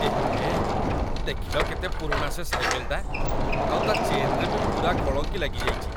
ଏହେ, ଦେଖିଲ କେତେ ପୁରୁଣା ସେ ସାଇକେଲଟା, ଆଉ ତା' ଚେନ୍‌ରେ ବି ପୂରା କଳଙ୍କି ଲାଗିଯାଇଚି ।